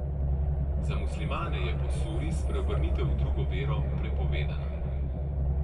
Za muslimane je po Suri spreobrnitev v drugo vero prepovedana.